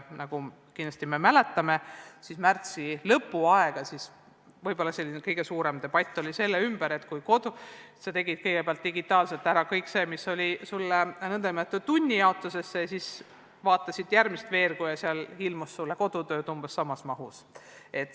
Nagu me märtsi lõpust kindlasti mäletame, siis kõige suurem debatt käis selle ümber, et kui õpilane oli kõigepealt teinud digitaalselt ära kõik need ülesanded, mis olid talle n-ö tunnijaotusesse pandud, ja siis vaatas järgmist veergu, nägi ta, et seal oli kodutööd umbes samas mahus.